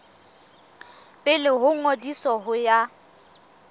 pele ho ngodiso ho ya